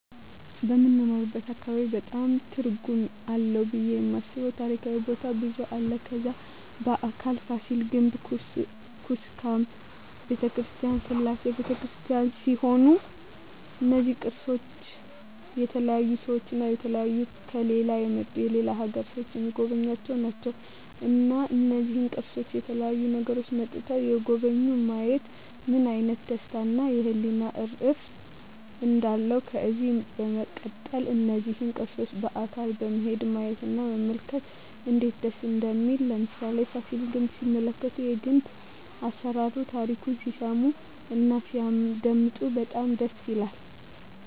በምንኖርበት አካባቢ በጣም ትርጉም አለው ብየ የማስበው ታሪካዊ ቦታ ብዙ አለ ከዛ በአካል ፋሲል ግንብ ኩስካም በተክርስቲያን ስላሴ በተክርስቲያን ሲሆኑ እነዚ ቅርሶች በተለያዩ ሰዎች እና በተለያዩ ከሌላ የመጡ የሌላ አገር ሰዎች ሚጎበኙአቸው ናቸው እና እነዚህን ቅርሶች ከተለያዩ አገሮች መጥተዉ የጎበኙ ማየት ምን አይነት ደስታ እና የህሊና እርፍ እንዳለው ከዚህ በመቀጠል እነዚህን ቅርሶች በአካል በመሄድ ማየት እና መመልከት እነዴት ደስ እንደሚል ለምሳሌ ፋሲል ግንብ ሲመለከቱ የግንብ አሰራሩን ታሪኩን ሲሰሙ እና ሲያደመጡ በጣም ደስ ይላል